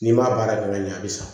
N'i m'a baara kɛ ka ɲɛ a bi sa